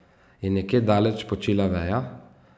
Je nekje daleč počila veja?